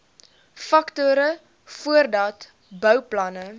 faktore voordat bouplanne